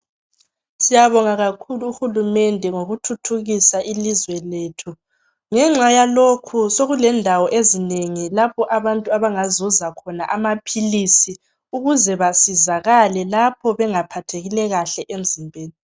Siyabonga kakhulu uhulumende ngokuthuthukisa ilizwe lethu ngenxa yalokhu sokulendawo ezinengi lapho abantu abangazuza khona amaphilisi ukuze basizakale lapho bengaphathekile kahle emzimbeni